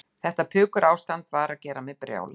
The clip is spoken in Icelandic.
Þetta pukurástand var að gera mig brjálaða.